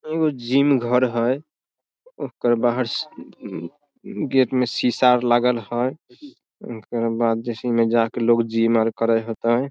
एगो जिम घर हेय ओकर बाहर गेट में सीसा आर लगल हेय ओकर बाद जिसी मे जाके लोग जिम आर करय हेतय।